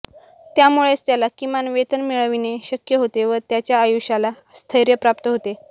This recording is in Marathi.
त्यामुळेच त्याला किमान वेतन मिळविणे शक्य होते व त्याच्या आयुष्याला स्थैर्य प्राप्त होते